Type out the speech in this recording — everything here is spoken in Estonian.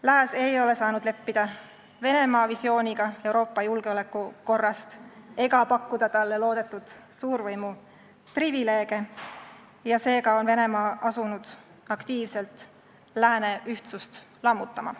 Lääs ei ole saanud leppida Venemaa visiooniga Euroopa julgeolekuolukorrast ega pakkuda talle loodetud suurvõimu privileege ja seega on Venemaa asunud aktiivselt lääne ühtsust lammutama.